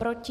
Proti?